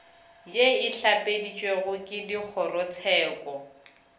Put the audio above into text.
ye e hlapeditšwego ke dikgorotsheko